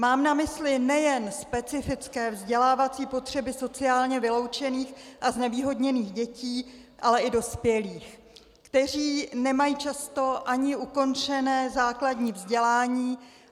Mám na mysli nejen specifické vzdělávací potřeby sociálně vyloučených a znevýhodněných dětí, ale i dospělých, kteří nemají často ani ukončené základní vzdělání.